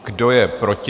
Kdo je proti?